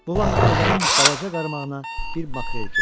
Bu vaxt qocanın balaca qarmağına bir makrel keçdi.